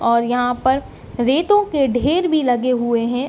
और यहाँ पर रेतों के ढेर भी लगे हुए हैं।